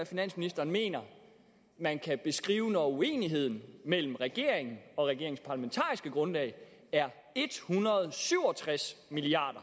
finansministeren mener man kan beskrive det når uenigheden mellem regeringen og regeringens parlamentariske grundlag er en hundrede og syv og tres milliard